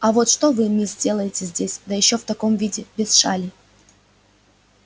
а вот что вы мисс делаете здесь да ещё в таком виде без шали